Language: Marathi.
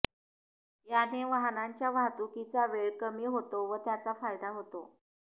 याने वाहनांच्या वाहतुकीचा वेळ कमी होतो व त्याचा फायदा होतो